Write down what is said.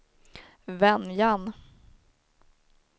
Venjan